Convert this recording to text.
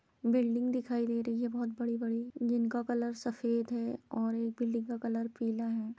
Building दिखाई दे रही है बहुत बडी-बडी जिनका कलर सफ़ेद है और एक बिल्डिंग का कलर पीला है।